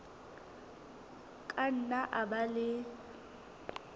ka nna a ba le